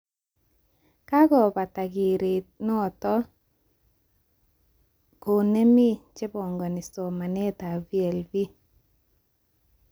Kokakobata keret noto konemi chebangani somanet VLE